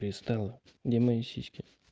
перестала где мои сиськи